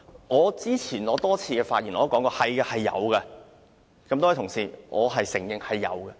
我早前在多次發言中都表示，是有經濟誘因的。